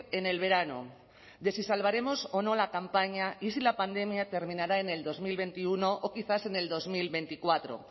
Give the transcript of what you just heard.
en el verano de si salvaremos o no la campaña y si la pandemia terminará en el dos mil veintiuno o quizás en el dos mil veinticuatro